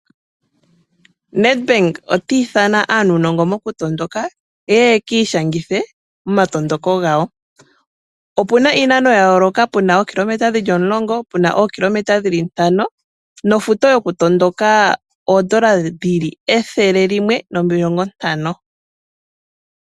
NEDBANK otiithana aantu mba yena uunongo wokutondoka yeye yekiishangithe omatondoko. Opuna iinano yayoloka ngaashi, 10 KG, 5KG nofutu yokutondoka N$150.